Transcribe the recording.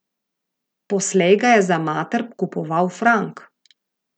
Poslej ga je za mater kupoval Frank.